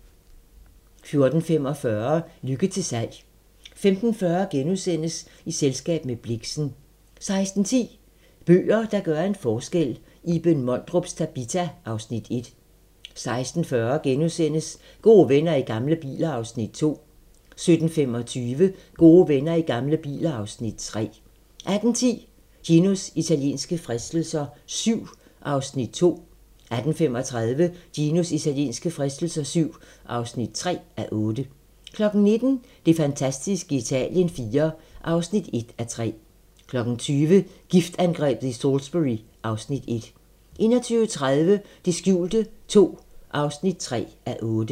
14:45: Lykke til salg 15:40: I selskab med Blixen * 16:10: Bøger, der gør en forskel - Iben Mondrups "Tabita" (Afs. 1) 16:40: Gode venner i gamle biler (Afs. 2)* 17:25: Gode venner i gamle biler (Afs. 3) 18:10: Ginos italienske fristelser VII (2:8) 18:35: Ginos italienske fristelser VII (3:8) 19:00: Det fantastiske Italien IV (1:3) 20:00: Giftangrebet i Salisbury (Afs. 1) 21:30: Det skjulte II (3:8)